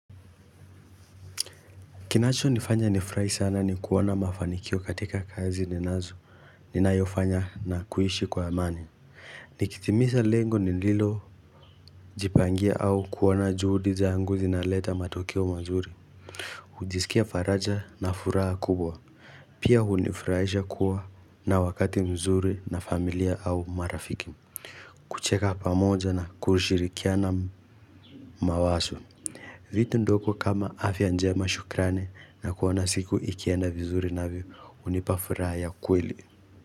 Kinacho nifanya nifrahi sana ni kuwona mafanikio katika kazi ninazo, ninayofanya na kuishi kwa amani. Nikitimisa lengo ni nilo jipangia au kuwona juhudi zangu zinaleta matokeo mazuri. Hujisikia faraja na furaha kubwa. Pia hunifraisha kuwa na wakati mzuri na familia au marafiki. Kucheka pamoja na kushirikiana mawaso. Vitu ndoko kama afya njema shukrane na kuona siku ikienda vizuri navyo hunipa furaya kweli.